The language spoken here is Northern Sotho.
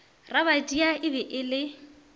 rabadia e be e le